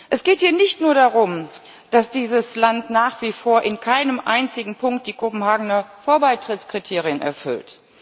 Es geht hier nicht nur darum, dass dieses Land nach wie vor in keinem einzigen Punkt die Kopenhagener Vor Beitrittskriterien erfüllt.